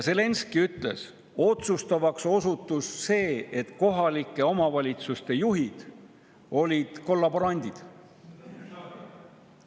Zelenskõi ütles, et otsustavaks osutus see, et kohalike omavalitsuste juhid olid kollaborandid.